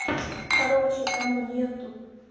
короче там нету